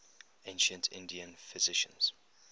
ancient indian physicians